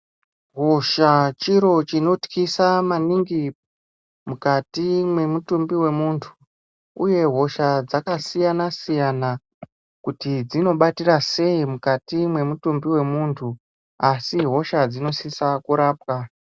Hosha chiro chinotyisa maningi mwukati mwemutumbi wemuntu uye hosha dzakasiyana siyana kuti dzinobatira sei mukwati mwemutumbi wemuntu. Asi hosha dzinosiswa kurapwa.